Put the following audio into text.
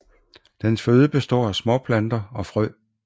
Dens føde består af småplanter og frø